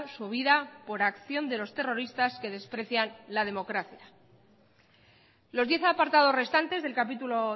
su vida por acción de los terroristas que desprecian la democracia los diez apartados restantes del capítulo